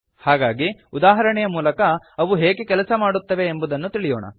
ಹಾಗಾಗಿ ಉದಾಹರಣೆಯ ಮೂಲಕ ಅವು ಹೇಗೆ ಕೆಲಸ ಮಾಡುತ್ತವೆ ಎಂಬುದನ್ನು ತಿಳಿಯೋಣ